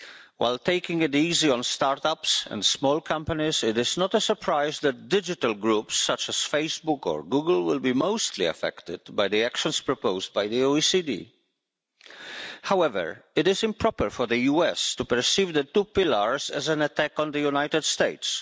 While taking it easy on start ups and small companies, it is not a surprise that digital groups such as Facebook or Google will be mostly affected by the actions proposed by the OECD. However, it is improper for the US to perceive the two Pillars as an attack on the United States.